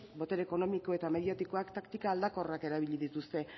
botere ekonomiko eta mediatikoak taktika aldakorrak erabili dituzte